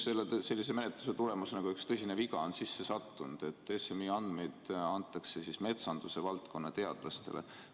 Sellise menetluse tulemusena on üks tõsine viga sisse sattunud: et SMI andmeid antakse metsanduse valdkonna teadlastele.